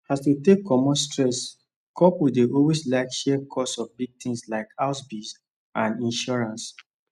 as to take commot stress couples dey always like share cost of big things like house bills and insurance